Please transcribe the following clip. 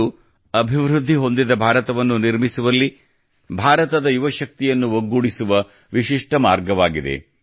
ಇದು ಅಭಿವೃದ್ಧಿ ಹೊಂದಿದ ಭಾರತವನ್ನು ನಿರ್ಮಿಸುವಲ್ಲಿ ಭಾರತದ ಯುವ ಶಕ್ತಿಯನ್ನು ಒಗ್ಗೂಡಿಸುವ ವಿಶಿಷ್ಟ ಮಾರ್ಗವಾಗಿದೆ